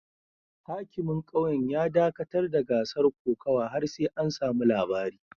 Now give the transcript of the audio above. Hakimin kauyen ya dakatar da gasar kokawa har sai an samu labari